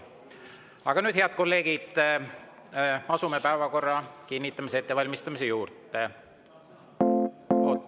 Aga nüüd, head kolleegid, asume päevakorra kinnitamise ettevalmistamise juurde.